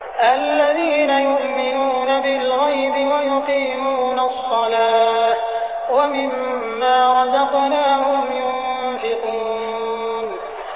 الَّذِينَ يُؤْمِنُونَ بِالْغَيْبِ وَيُقِيمُونَ الصَّلَاةَ وَمِمَّا رَزَقْنَاهُمْ يُنفِقُونَ